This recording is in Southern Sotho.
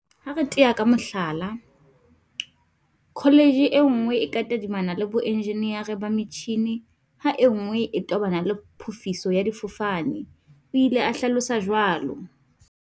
Ha re tea ka mohlala, kho letjhe e nngwe e ka tadimana le boenjenere ba metjhini ha e nngwe e tobana le phofiso ya difofane, o ile a hlalosa jwalo.